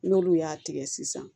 N'olu y'a tigɛ sisan